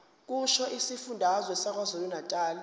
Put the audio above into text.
kusho isifundazwe sakwazulunatali